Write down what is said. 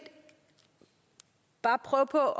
bare prøve på at